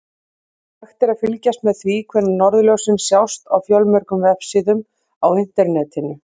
Hægt er að fylgjast með því hvenær norðurljósin sjást á fjölmörgum vefsíðum á Internetinu.